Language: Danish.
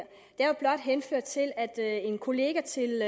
jeg vil blot henføre til at en kollega til